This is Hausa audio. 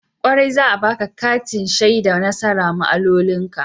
Kwarai, za'a baƙa kati shaida nasara ma'amaloli ka.